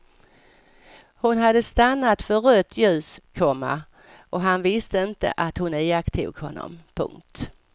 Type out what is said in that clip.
Hon hade stannat för rött ljus, komma och han visste inte att hon iakttog honom. punkt